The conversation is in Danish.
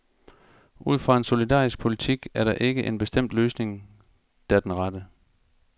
Ud fra en solidarisk politik er der ikke en bestemt løsning, der er den rette.